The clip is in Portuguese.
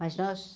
Mas nós,